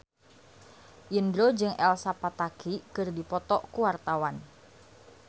Indro jeung Elsa Pataky keur dipoto ku wartawan